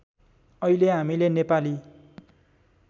अहिले हामीले नेपाली